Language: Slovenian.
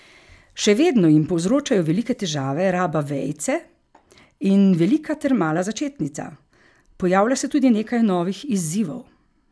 Še vedno jim povzročajo velike težave raba vejice in velika ter mala začetnica, pojavlja se tudi nekaj novih izzivov.